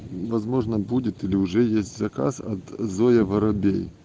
возможно будет или уже есть заказ от зоя воробей